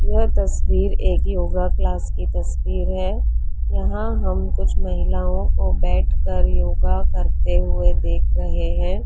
यह तस्वीर एक योगा क्लास की तस्वीर है यहां हम कुछ महिलाओं को बैठकर योगा करते हुए देख रहे हैं।